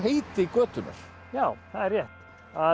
heiti götunnar já það er rétt